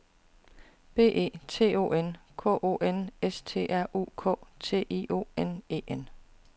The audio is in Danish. B E T O N K O N S T R U K T I O N E N